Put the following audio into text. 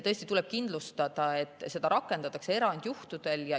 Tõesti tuleb kindlustada, et seda rakendatakse erandjuhtudel.